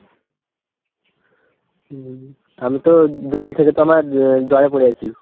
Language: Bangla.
হম আমি তো দুদিন থেকে তো আমার জ্বরে পড়ে আছি।